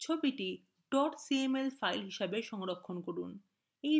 ছবিটি cml file হিসাবে সংরক্ষণ করা